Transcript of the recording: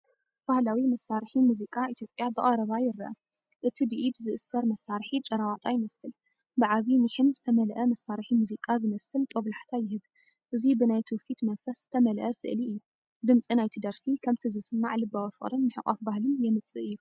ባህላዊ መሳርሒ ሙዚቃ ኢትዮጵያ ብቐረባ ይርአ እቲ ብኢድ ዝእሰር መሳርሒ“ጭራ ዋጣ” ይመስል፣ ብዓቢ ኒሕን ዝተመልአ መሳርሒ ሙዚቃ ዝመስል ጦብላሕታ ይህብ። እዚ ብናይ ትውፊት መንፈስ ዝተመልአ ስእሊ እዩ። ድምጺ ናይቲ ደርፊ፡ ከምቲ ዝስማዕ፡ ልባዊ ፍቕርን ምሕቋፍ ባህልን የምጽእ እዩ።